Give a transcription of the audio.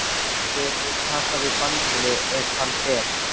Hver mun taka við bandinu ef hann fer?